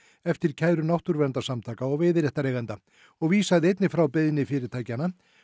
eftir kæru náttúruverndarsamtaka og veiðiréttareigenda og vísaði einnig frá beiðni fyrirtækja